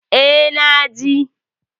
E, na je.